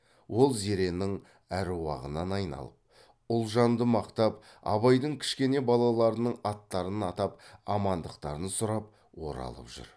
ол зеренің аруағынан айналып ұлжанды мақтап абайдың кішкене балаларының аттарын атап амандықтарын сұрап оралып жүр